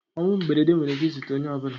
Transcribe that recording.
Ọnwụ mberede nwere ike ị zute onye ọbụla.